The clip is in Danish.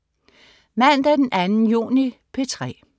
Mandag den 2. juni - P3: